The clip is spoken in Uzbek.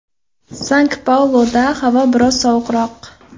San-Pauluda havo biroz sovuqroq.